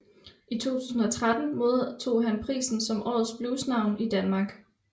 I 2013 modtog han prisen som Årets Blues Navn i Danmark